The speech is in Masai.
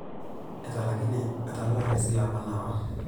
Etalaikine atalaa esile apa nawa.